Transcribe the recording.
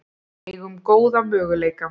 Eigum góða möguleika